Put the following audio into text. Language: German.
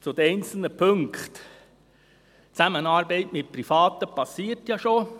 Zu den einzelnen Punkten: Die Zusammenarbeit mit Privaten geschieht ja schon.